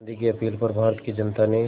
गांधी की अपील पर भारत की जनता ने